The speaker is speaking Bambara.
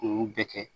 Kun bɛɛ kɛ